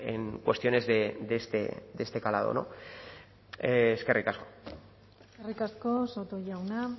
en cuestiones de este calado eskerrik asko eskerrik asko soto jauna